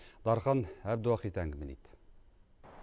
дархан әбдуахит әңгімелейді